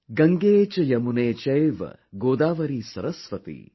GangeCheYamuneChaive Godavari Saraswati